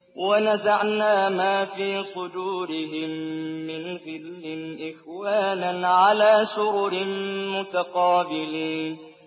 وَنَزَعْنَا مَا فِي صُدُورِهِم مِّنْ غِلٍّ إِخْوَانًا عَلَىٰ سُرُرٍ مُّتَقَابِلِينَ